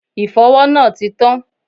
Ìfọwọ́ náà ti tán.